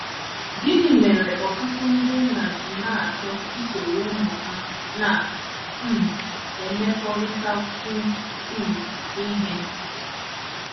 Gịnị mere ọtụtụ ndị nna ji na - achọ isoro ụmụ ha na - um emekọrịtakwu um ihe?